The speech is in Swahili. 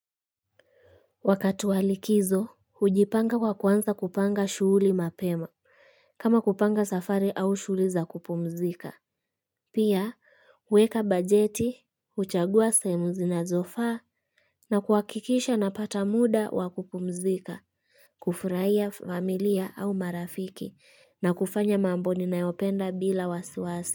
Wakati wa likizo, hujipanga kwa kuanza kupanga shughuli mapema, kama kupanga safari au shughuli za kupumzika. Pia, huweka bajeti, huchagua sehemu zinazofaa, na kuhakikisha napata muda wa kupumzika, kufurahia familia au marafiki, na kufanya mambo ninayopenda bila wasiwasi.